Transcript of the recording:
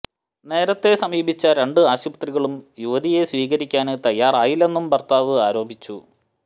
നേരത്തെ സമീപിച്ച രണ്ട് ആശുപത്രികളും യുവതിയെ സ്വീകരിക്കാന് തയാറായില്ലെന്നും ഭര്ത്താവ് ആരോപിച്ചു